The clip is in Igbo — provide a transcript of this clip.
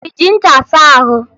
Ị ji ncha asa ahụ?